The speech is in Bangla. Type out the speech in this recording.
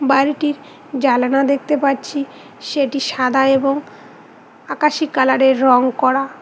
বাড়িটির জালানা দেখতে পাচ্ছি সেটি সাদা এবং আকাশী কালারের রং করা।